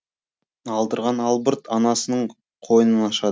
алдырған албырт анасының қойнын ашады